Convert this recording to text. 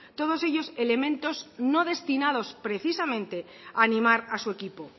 todos ellos elementos no destinados precisamente a animar a su equipo